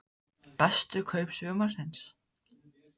Bestu kaup sumarsins?